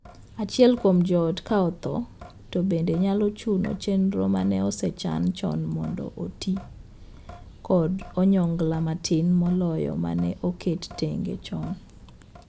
Achiel kuom joot ka othoo to bende nyalo chuno chenro mane osechan chon mondo oti kod onyongla matin moloyo mane oket tenge chon.